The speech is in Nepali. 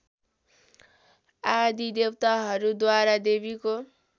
आदि देवताहरूद्वारा देवीको